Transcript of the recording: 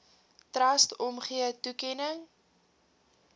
trust omgee toekenning